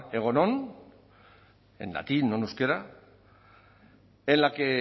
en latín no en euskera en la que